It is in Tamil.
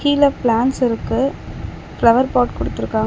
கீழ பிளான்ட்ஸ் இருக்கு ஃபிளவர் பாட் குடுத்துருக்காங்--